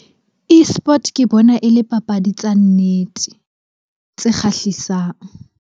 Esport ke bona e le papadi tsa nnete tse kgahlisang.